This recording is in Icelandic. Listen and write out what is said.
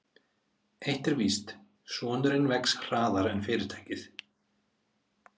Eitt er víst: Sonurinn vex hraðar en fyrirtækið.